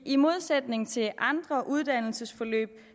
i modsætning til andre uddannelsesforløb